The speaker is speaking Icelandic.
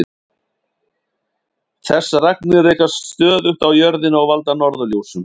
Þessar agnir rekast stöðugt á jörðina og valda norðurljósum.